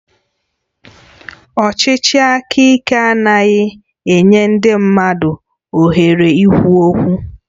Ọchịchị aka ike adịghị enye ndị mmadụ ohere ikwu okwu